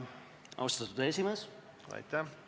Austatud esimees!